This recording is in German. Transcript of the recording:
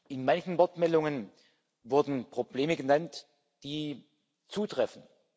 In manchen Wortmeldungen wurden Probleme genannt, die zutreffen.